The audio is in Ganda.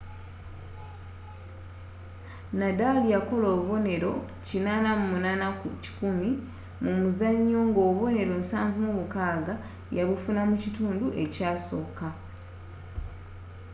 nadal yakola obuboneero 88% mu muzanyo nga obubonnero 76 yabufuna mu kitundu ekyasooka